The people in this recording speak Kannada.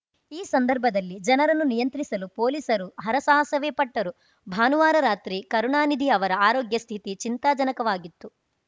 ಈ ಸಂದರ್ಭದಲ್ಲಿ ಜನರನ್ನು ನಿಯಂತ್ರಿಸಲು ಪೊಲೀಸರು ಹರಸಾಹಸವೇ ಪಟ್ಟರು ಭಾನುವಾರ ರಾತ್ರಿ ಕರುಣಾನಿಧಿ ಅವರ ಆರೋಗ್ಯ ಸ್ಥಿತಿ ಚಿಂತಾಜನಕವಾಗಿತ್ತು